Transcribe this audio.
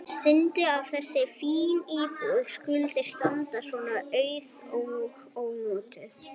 Synd að þessi fína íbúð skuli standa svona auð og ónotuð.